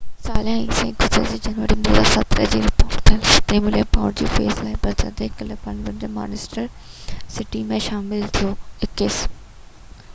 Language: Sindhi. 21 ساله عيسي گذريل سال جنوري 2017 ۾ رپورٽ ٿيل 27 ملين پائونڊ جي فيس لاءِ برازيل ڪلب پالميراس کان مانچسٽر سٽي ۾ شامل ٿيو